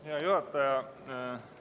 Hea juhataja!